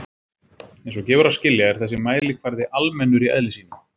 Eins og gefur að skilja er þessi mælikvarði almennur í eðli sínu.